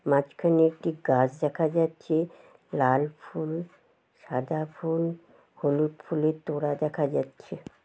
মাঝখানে একটি গাছ দেখা যাচ্ছে লাল ফুল সাদা ফুল হলুদ ফুলের তোড়া দেখা যাচ্ছে।